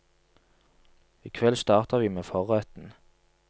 I kveld starter vi med forretten.